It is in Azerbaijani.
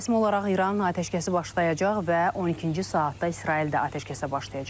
Rəsmi olaraq İran atəşkəsə başlayacaq və 12-ci saatda İsrail də atəşkəsə başlayacaq.